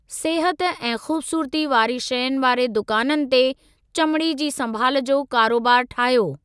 सिहत ऐं ख़ूबसूरती वारी शयुनि वारे दुकाननि ते चमिड़ी जी संभाल जो कारोबारु ठाहियो।